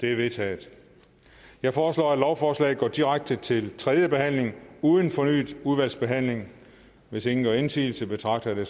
vedtaget jeg foreslår at lovforslaget går direkte til tredje behandling uden fornyet udvalgsbehandling hvis ingen gør indsigelse betragter jeg